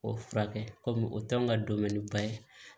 O furakɛ kɔmi o t'anw ka donbɛ ni ba ye